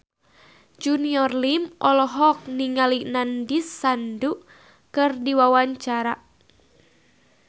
Junior Liem olohok ningali Nandish Sandhu keur diwawancara